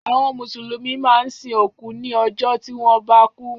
Àwọn Mùsùlùmí máa ń sin òkú ní ọjọ́ tí wọ́n bá kú.